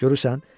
Görürsən?